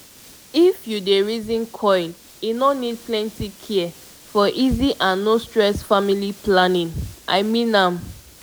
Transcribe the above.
if u dey reason coil e no need plenty care for easy and no stress family planning -- i mean am